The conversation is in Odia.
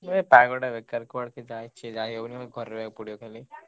ପାଗ ଟା ବେକାର କୁଆଡେ କଣ କିଛି ଯାଇହଉନି ଘରେ ରହିବାକୁ ପଡିବ ଖାଲି।